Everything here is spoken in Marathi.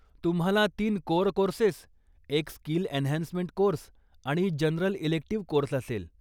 तुम्हाला तीन कोअर कोर्सेस, एक स्किल एनहान्समेंट कोर्स, आणि जनरल इलेक्टीव्ह कोर्स असेल.